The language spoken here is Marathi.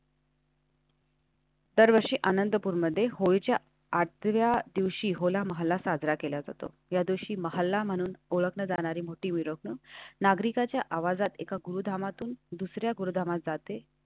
दरवर्षी आनंदपूर मध्ये होळीच्या आठव्या दिवशी होईल. आम्हाला साजरा केला जातो. या दिवशी महिला म्हणून ओळखली जाणारी मोठी मिळून नागरिकाच्या आवाजात एका गोदामातून दुसर् या गोदामा जाते.